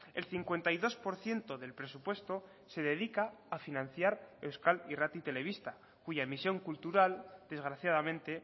el cincuenta y dos por ciento del presupuesto se dedica a financiar euskal irrati telebista cuya emisión cultural desgraciadamente